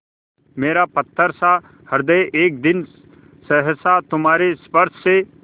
मेरा पत्थरसा हृदय एक दिन सहसा तुम्हारे स्पर्श से